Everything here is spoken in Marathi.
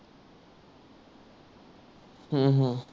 हम्म हम्म